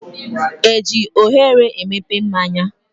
Eji oghere emepe mmáñyá?